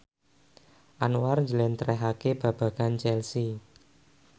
Anwar njlentrehake babagan Chelsea